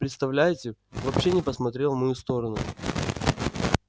представляете вообще не посмотрел в мою сторону